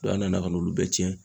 an nana ka n'olu bɛɛ cɛn.